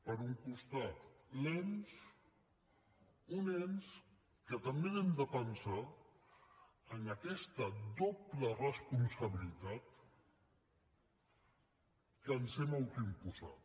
per un costat l’ens un ens que també l’hem de pensar en aquesta doble responsabilitat que ens hem autoimposat